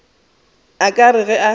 a ka re ge a